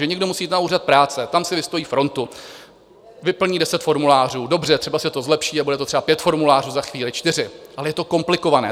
Že někdo musí jít na úřad práce, tam si vystojí frontu, vyplní deset formulářů, dobře, třeba se to zlepší a bude to třeba pět formulářů, za chvíli čtyři, ale je to komplikované.